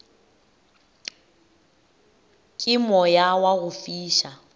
ke moya wa go fiša